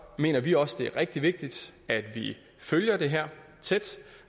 mener vi også det er rigtig vigtigt at vi følger det her tæt